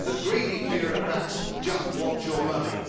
The greedy bureaucrats just want your money.